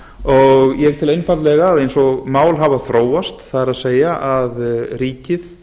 og ég tel einfaldlega að eins og mál hafa þróast það er að ríkið